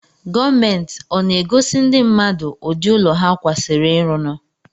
Gomenti ọ na-agosi ndi mmadụ ụdị ụlọ ha kwasiri ịrụnụ?